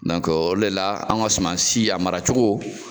o le la an ka suman si a mara cogo